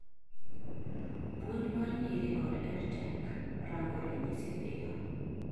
puonj mar nyiri kod edtech:rango ranyisi piyo